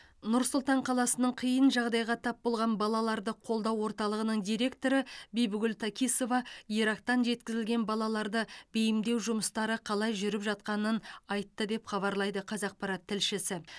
нұр сұлтан қаласының қиын жағдайға тап болған балаларды қолдау орталығының директоры бибігүл такисова ирактан жеткізілген балаларды бейімдеу жұмыстары қалай жүріп жатқанын айтты деп хабарлайды қазақпарат тілшісі